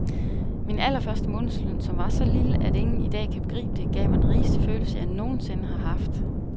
Min allerførste månedsløn, som var så lille, at ingen i dag kan begribe det, gav mig den rigeste følelse, jeg nogen sinde har haft.